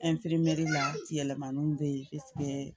yɛlɛmaniw bɛ yen